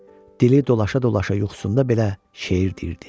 Dili dolaşa-dolaşa yuxusunda belə şeir deyirdi.